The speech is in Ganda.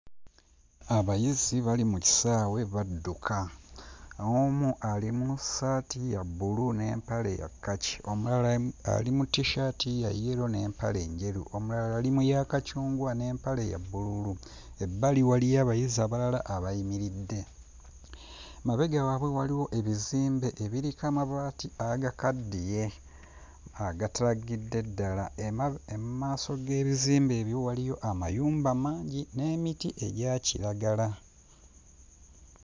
Abayizi bali mu kisaawe badduka. Omu ali mu ssaati ya bbulu n'emapale ya kkaki, omulala mu ali mu tissaati ya yero n'empale njeru, omulala ali mu ya kacungwa n'empale ya bbululu, ebbali waliyo abayizi abalala abayimiridde. Emabega waabwe waliwo ebizimbe ebiriko amabaati agakaddiye agatalaggidde ddala, emma... emmaaso g'ebizimbe ebyo waliyo amayumba mangi n'emiti egya kiragala.